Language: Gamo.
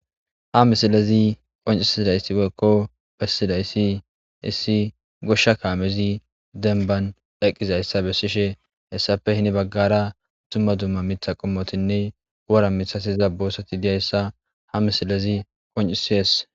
Ha misilezi qoncisidaysi woyko besizaysi issi gishaw kaamezi demban eqidaysa besishin hesappe heni bagara duma duma mitha qommotinne wora mithati dizaysa ha misiley qonc'isses.